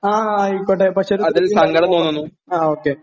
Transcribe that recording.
ആ ആയിക്കോട്ടെ പക്ഷെ ഒരു ആ ഓക്കേ